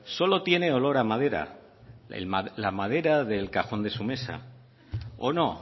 solo tiene olor a madera la madera del cajón de su mesa o no